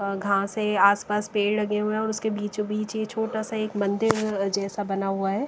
अ घासें आसपास पेड़ लगे हुए हैं और उसके बीचों बीच यह छोटा सा एक मंदिर जैसा बना हुआ है।